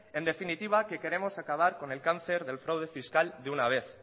en definitiva que queremos acabar con el cáncer del fraude fiscal de una vez